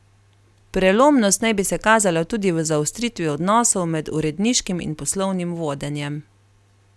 Prelomnost naj bi se kazala tudi v zaostritvi odnosov med uredniškim in poslovnim vodenjem.